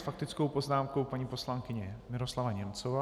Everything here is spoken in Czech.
S faktickou poznámkou paní poslankyně Miroslava Němcová.